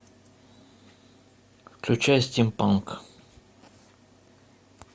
включай стимпанк